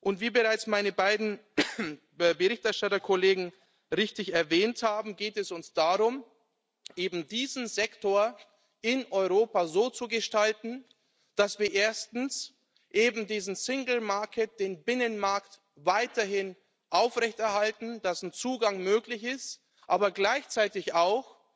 Und wie bereits meine beiden Berichterstatterkollegen richtig erwähnt haben, geht es uns darum, eben diesen Sektor in Europa so zu gestalten, dass wir erstens eben diesen Binnenmarkt, weiterhin aufrechterhalten, dass ein Zugang möglich ist, aber gleichzeitig auch,